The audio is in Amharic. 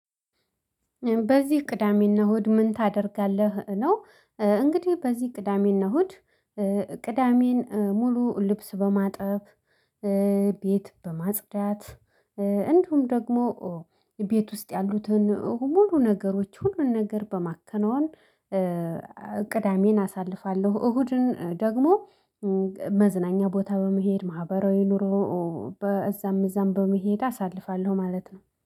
በዚህ ቅዳሜና እሁድ ምን ታደርጋለህ ነው? እንግዲህ በዚህ ቅዳሜና እሁድ ቅዳሜን ሙሉ ልብስ በማጠብ፣ ቤት በማጽዳት፣ እንዱሁም ደግሞ ቤት ውስጥ ያሉትን ሁሉ ነገሮች ሁሉ ነገር በማከናወን ቅዳሜን አሳልፋለሁ። እሁድን ደግሞ መዝናኛ ቦታ በመሄድ ማህበራዊ ኑሮ በእዛም እዛም በመሄድ አሳልፋለሁ ማለት ነው።